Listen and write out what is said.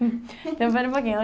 Então, espera um pouquinho.